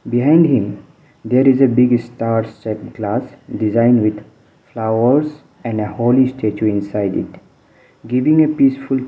behind him there is a big star shaped glass designed with flowers and a holy statue inside it giving a peaceful t --